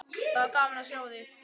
Það var gaman að sjá þig.